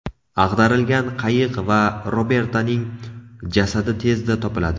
Ag‘darilgan qayiq va Robertaning jasadi tezda topiladi.